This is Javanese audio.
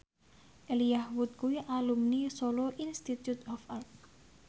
Elijah Wood kuwi alumni Solo Institute of Art